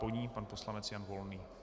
Po ní pan poslanec Jan Volný.